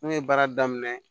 N'o ye baara daminɛ